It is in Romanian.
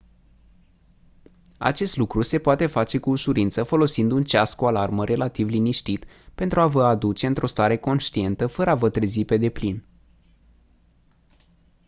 acest lucru se poate face cu ușurință folosind un ceas cu alarmă relativ liniștit pentru a vă a aduce într-o stare conștientă fără a vă trezi pe deplin